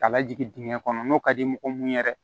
Ka lajigin dingɛ kɔnɔ n'o ka di mɔgɔ mun ye dɛ